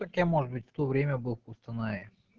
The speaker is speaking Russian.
так я может быть в то время был в кустаная